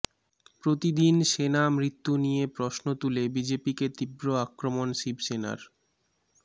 প্রতিদিন সেনা মৃত্যু নিয়ে প্রশ্ন তুলে বিজেপিকে তীব্র আক্রমণ শিবসেনার